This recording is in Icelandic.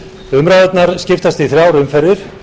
umræðurnar skiptast í þrjár umferðir